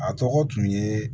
A tɔgɔ tun ye